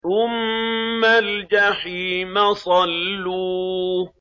ثُمَّ الْجَحِيمَ صَلُّوهُ